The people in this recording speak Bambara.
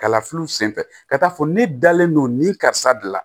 Kalafiliw senfɛ ka taa fɔ ne dalen don nin karisa de la